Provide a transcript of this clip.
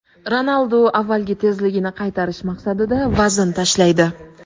Ronaldu avvalgi tezligini qaytarish maqsadida vazn tashlaydi.